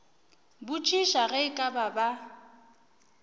botšiša ge e ka ba